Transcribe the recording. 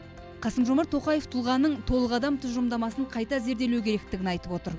қасым жомарт тоқаев тұлғаның толық адам тұжырымдамасын қайта зерделеу керектігін айтып отыр